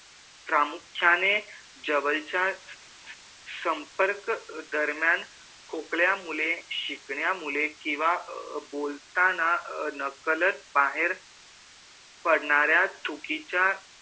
प्रामुख्याने जवळच्या संपर्क दरम्यान खोकल्या मुळे शिंकल्यामुळे किंवा बोलताना नकळत बाहेर पडणाऱ्या थूकीच्या